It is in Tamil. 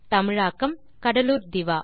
தமிழாக்கம் கடலூர் திவா